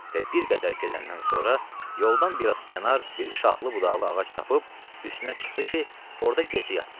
Və bir qədər gedəndən sonra yoldan bir az kənar bir şaxlı budaqlı ağac tapıb üstünə çıxdı ki, orda gecə yatsın.